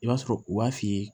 I b'a sɔrɔ u b'a f'i ye